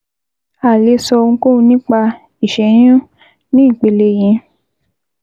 A ò lè sọ ohunkóhun nípa ìṣẹ́yún ní ìpele yìí